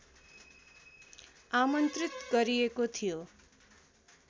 आमन्त्रित गरिएको थियो